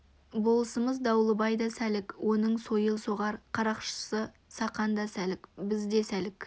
болысымыз дауылбай да сәлік оның сойыл соғар қарақшысы сақан да сәлік біз де сәлік